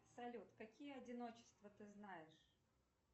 салют какие одиночества ты знаешь